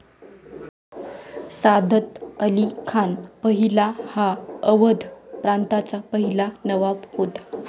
सादत अली खान पहिला हा अवध प्रांताचा पहिला नवाब होता।